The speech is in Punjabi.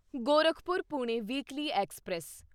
Gorakhpur Pune weekly express